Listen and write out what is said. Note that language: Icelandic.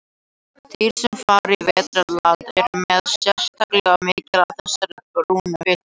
Dýr sem fara í vetrardvala eru með sérstaklega mikið af þessari brúnu fitu.